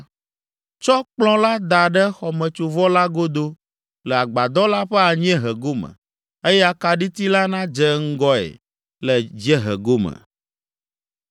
Tsɔ kplɔ̃ la da ɖe xɔmetsovɔ la godo le agbadɔ la ƒe anyiehe gome, eye akaɖiti la nadze ŋgɔe le dziehe gome.